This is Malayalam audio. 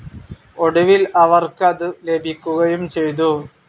ഒടുവിൽ അവർക്ക് അതു ലഭിക്കുകയും ചെയ്തു.